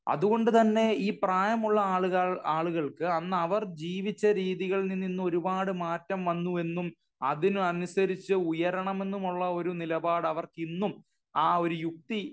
അതുകൊണ്ടു തന്നെ ഈ പ്രായമുള്ള ആളുകൾ ആളുകൾക്ക് അന്ന് അവർ ജീവിച്ച രീതികളിൽ നിന്ന് ഒരുപാട് മാറ്റം വന്നു എന്നും അതിന് അനുസരിച്ച് ഉയരണം എന്നും ഉള്ള ഒരു നിലപാട് അവർക്ക് ഇന്നും ആ ഒരു യുക്തി